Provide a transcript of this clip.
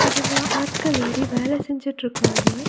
அதுல ஆட்கள் ஏறி வேலை செஞ்சுட்டுருக்காங்.